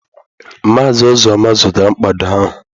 Maazị Uzoma zụtara mkpado ahụ